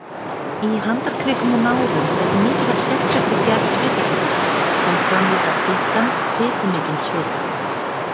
Í handarkrikum og nárum er mikið af sérstakri gerð svitakirtla sem framleiða þykkan, fitumikinn svita.